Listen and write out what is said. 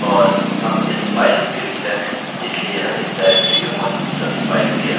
और हम इस while लूप के भीतर हैं इसलिए यह इस डाइरेक्टरी में मौजूद सभी फाइल के लिए अपडेट करेगा